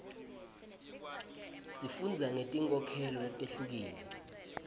sifundza ngeti nkholelo letihlukile